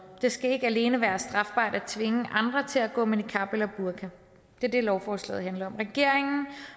skal ikke alene være strafbart at tvinge andre til at gå med niqab eller burka det er det lovforslaget handler om regeringen